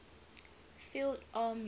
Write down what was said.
field armies